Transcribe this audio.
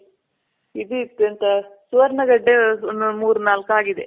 ಇದಿತ್ತು ಎಂತ ಸುವರ್ಣ ಗೆಡ್ಡೆ ಒಂದ್ ಮುರ್ನಾಲ್ಕ್ ಆಗಿದೆ.